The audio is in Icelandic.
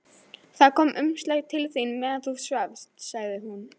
Það kom umslag til þín meðan þú svafst, sagði hún.